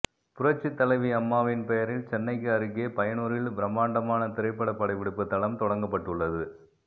புரட்சித்தலைவி அம்மாவின் பெயரில் சென்னைக்கு அருகே பையனூரில் பிரமாண்டமான திரைப்பட படப்பிடிப்பு தளம் தொடங்கப்பட்டுள்ளது